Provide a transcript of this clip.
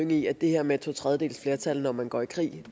i at det her med et totredjedelsflertal når man går i krig